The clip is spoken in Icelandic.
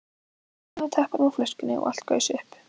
Hún náði tappanum úr flöskunni og allt gaus upp.